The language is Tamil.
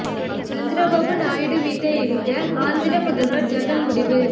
சந்திரபாபு நாயுடு வீட்டை இடிக்க ஆந்திர முதல்வர் ஜெகன் முடிவு